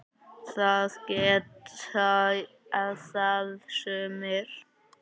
Það geta það sumir.